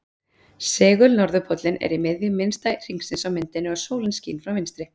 Segul-norðurpóllinn er í miðju minnsta hringsins á myndinni og sólin skín frá vinstri.